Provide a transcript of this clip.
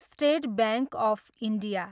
state bank of India